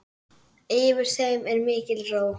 Yfir þeim er mikil ró.